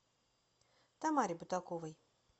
тамаре бутаковой